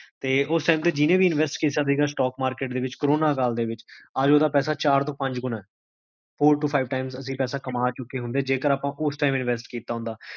ਤੇ ਓਸ time ਤੇ ਜਿੰਨੇ ਵੀ ਇੰਵੇਸ੍ਟ ਕੀਤਾ ਸੀਗਾ stock market ਦੇ ਵਿੱਚ, ਕੋਰੋਨਾ ਕਾਲ ਦੇ ਵਿੱਚ, ਅੱਜ ਓਦਾ ਪੈਸਾ ਚਾਰ ਤੋ ਪੰਜ ਗੁਣਾ ਹੈ, four to five times ਅਸੀ